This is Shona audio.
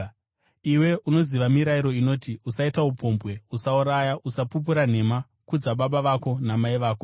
Iwe unoziva mirayiro inoti: ‘Usaita upombwe, usauraya, usapupura nhema, kudza baba vako namai vako.’ ”